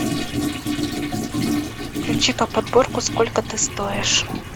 включи ка подборку сколько ты стоишь